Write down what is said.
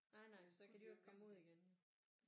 Nej nej for så kan de jo ikke komme ud igen jo